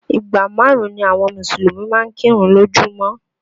Ìgbà márùn-ún ni àwọn Mùsùlùmí máa ń kírun lójú mọ́